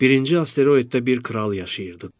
Birinci asteroiddə bir kral yaşayırdı.